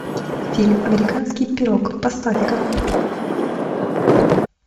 фильм американский пирог поставь ка